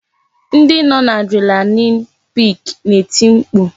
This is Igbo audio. Ndị nọ n'adrenalin pik na-eti mkpu